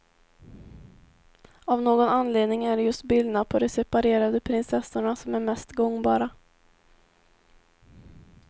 Av någon anledning är det just bilderna på de separerade prinsessorna som är mest gångbara.